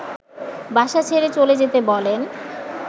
বাসা ছেড়ে চলে যেতে বলেন